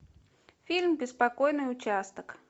фильм беспокойный участок